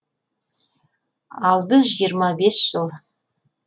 ал біз жиырма бес жыл